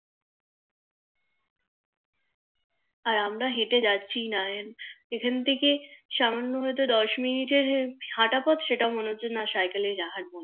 আর আমরা হেটে যাচ্ছি নাই এখান থেকে সামান্য হয়তো দোষ Minute এর হাটা পথ সেটাও মনে হচ্ছে না সাইকেল এ যাই